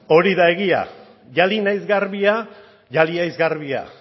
hori da egia jali naiz garbia jali haiz garbia